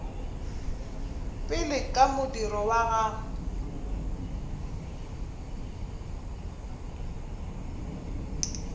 pele ka modiro wa gagwe